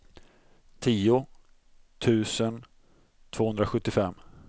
tio tusen tvåhundrasjuttiofem